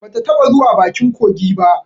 Ba ta taɓa zuwa bakin kogi ba